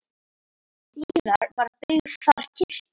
Síðar var byggð þar kirkja.